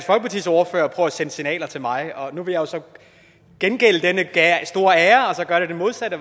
sende signaler til mig og nu vil jeg så gengælde denne store ære og gøre det modsatte